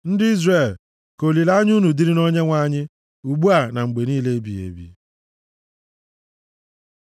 Ndị Izrel, ka olileanya unu dịrị na Onyenwe anyị + 131:3 \+xt Abụ 130:7\+xt* ugbu a na mgbe niile ebighị ebi.